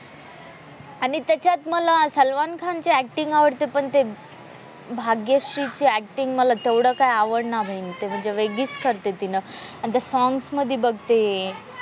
आणि त्याच्यात मला सलमान खानची ऍक्टिंग आवडते पण ते भाग्यश्री ची ऍक्टिंग मला तेवढं काही आवडलं नाही म्हणजे वेगळीच करते तिने आणि त्या सॉंग्स मध्ये बघ ते,